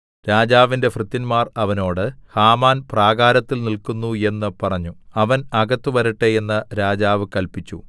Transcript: രാജാവിന്റെ ഭൃത്യന്മാർ അവനോട് ഹാമാൻ പ്രാകാരത്തിൽ നില്ക്കുന്നു എന്ന് പറഞ്ഞു അവൻ അകത്ത് വരട്ടെ എന്ന് രാജാവു കല്പിച്ചു